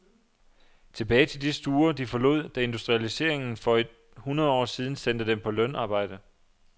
Tilbage til de stuer, de forlod, da industrialiseringen for et hundrede år siden sendte dem på lønarbejde.